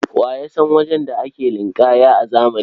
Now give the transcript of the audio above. Wa ya san wajen da ake ninƙaya na zamani?